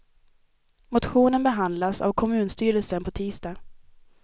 Motionen behandlas av kommunstyrelsen på tisdag.